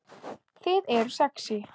Þið eruð sexý